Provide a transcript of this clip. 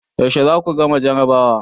Yaushe za ku gama jarabawa?